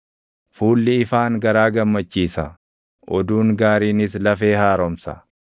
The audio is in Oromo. Fuulli ifaan garaa gammachiisa; oduun gaariinis lafee haaromsa.